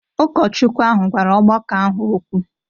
Ụkọchukwu ahụ gwara ọgbakọ ahụ okwu.